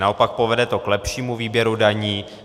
Naopak to povede k lepšímu výběru daní.